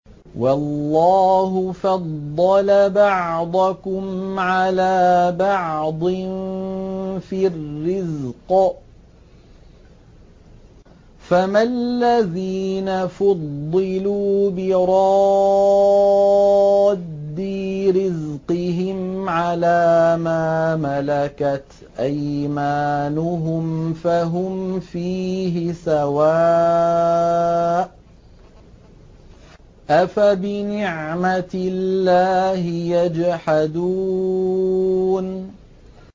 وَاللَّهُ فَضَّلَ بَعْضَكُمْ عَلَىٰ بَعْضٍ فِي الرِّزْقِ ۚ فَمَا الَّذِينَ فُضِّلُوا بِرَادِّي رِزْقِهِمْ عَلَىٰ مَا مَلَكَتْ أَيْمَانُهُمْ فَهُمْ فِيهِ سَوَاءٌ ۚ أَفَبِنِعْمَةِ اللَّهِ يَجْحَدُونَ